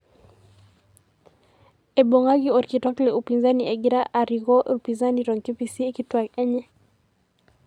Eibung'aki orkitok le upinzani egira arikoo upinzani toonkipisi kituak enye.